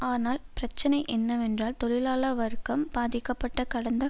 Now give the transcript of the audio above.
ஆனால் பிரச்சினை என்னவென்றால் தொழிலாள வர்க்கம் பாதிக்கப்பட்ட கடந்த